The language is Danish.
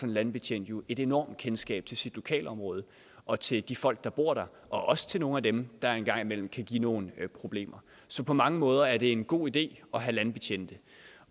en landbetjent jo et enormt kendskab til sit lokalområde og til de folk der bor der og også til nogle af dem der en gang imellem kan give nogle problemer så på mange måder er det en god idé at have landbetjente